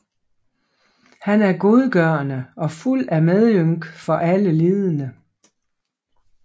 Han er godgørende og fuld af medynk for alle lidende